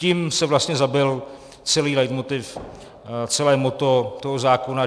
Tím se vlastně zabil celý leitmotiv, celé motto toho zákona.